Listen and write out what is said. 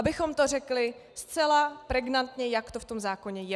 Abychom to řekli zcela pregnantně, jak to v tom zákoně je.